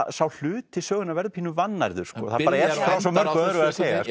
sá hluti sögunnar verður pínu vannærður það er frá svo mörgu öðru að segja